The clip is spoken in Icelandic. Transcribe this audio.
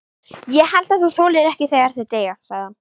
Ég held þú þolir ekki þegar þau deyja, sagði hann.